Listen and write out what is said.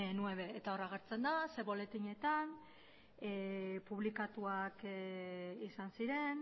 nueve eta hor agertzen da zein buletinetan publikatuak izan ziren